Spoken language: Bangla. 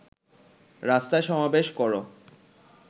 রাস্তায় সমাবেশ কর